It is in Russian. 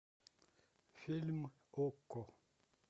фильм окко